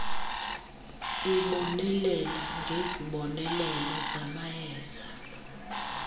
ibonelela ngezibonelelo zamayeza